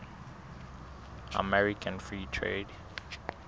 american free trade